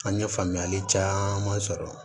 An ye faamuyali caman sɔrɔ